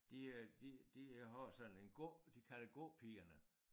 De øh de de har sådan en gå de kalder Gåpigerne